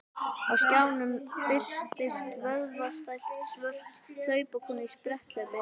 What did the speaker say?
Á skjánum birtist vöðvastælt svört hlaupakona í spretthlaupi.